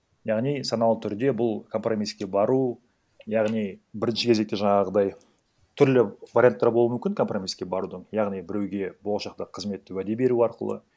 яғни саналы түрде бұл компромисске бару яғни бірінші кезекте жаңағыдай түрлі варианттар болуы мүмкін компромисске барудын яғни біреуге болашақта қызметті уәде беру арқылы